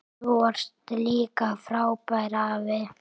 Þú varst líka frábær afi.